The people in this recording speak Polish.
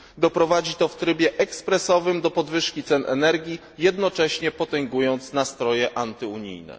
Doprowadzi to w trybie ekspresowym do podwyżki cen energii, jednocześnie potęgując nastroje antyunijne.